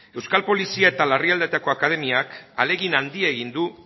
euskal polizia eta larrialdietako akademiak ahalegin handia egin du